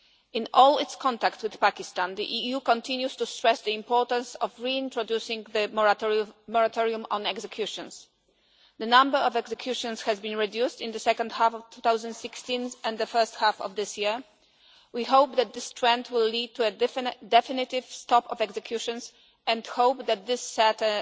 In all its contacts with Pakistan the EU continues to stress the importance of reintroducing the moratorium on executions. The number of executions has been reduced in the second half of 2016 and the first half of this year. We hope that this trend will lead to a definitive stop of executions and hope that this will set